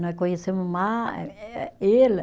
Nós conhecemos ma eh, ela